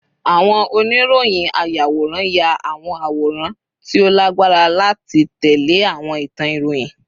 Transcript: Awon oniroyinayaworan ya awọn aworan ti o lagbara lati tẹle awọn itan iroyin